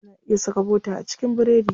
Ana iya saka bota a cikin biredi.